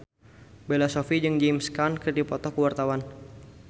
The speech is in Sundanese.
Bella Shofie jeung James Caan keur dipoto ku wartawan